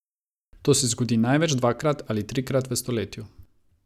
To se zgodi največ dvakrat ali trikrat v stoletju.